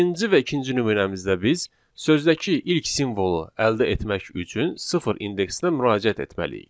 Birinci və ikinci nümunəmizdə biz sözdəki ilk simvolu əldə etmək üçün sıfır indeksinə müraciət etməliyik.